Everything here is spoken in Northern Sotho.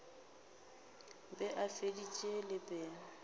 be a feditše le pelo